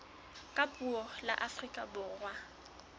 ka puo la afrika borwa